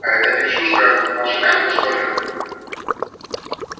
а эта девчушка ваша нянька что ли